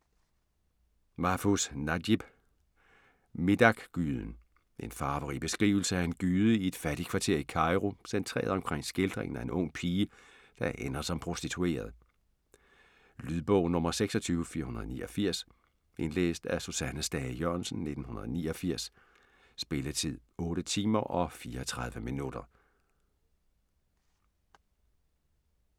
Mahfuz, Najib: Midaqgyden En farverig beskrivelse af en gyde i et fattigkvarter i Cairo, centreret omkring skildringen af en ung pige, der ender som prostitueret. Lydbog 26489 Indlæst af Susanne Stage Jørgensen, 1989. Spilletid: 8 timer, 34 minutter.